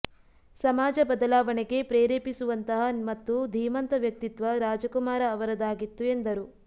ಸಮಾಜ ಬದಲಾವಣೆಗೆ ಪ್ರೇರೆಪಿಸುವಂತಹ ಮತ್ತು ಧೀಮಂತ ವ್ಯಕ್ತಿತ್ವ ರಾಜಕುಮಾರ ಅವರದಾಗಿತ್ತು ಎಂದರು